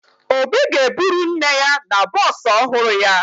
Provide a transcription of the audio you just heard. Obi ga-eburu nne ya na bọọsụ ọhụrụ ya